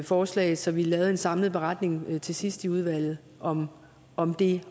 forslag så vi lavede en samlet beretning til sidst i udvalget om om det